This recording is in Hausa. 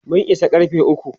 mun Isa karfe ukwu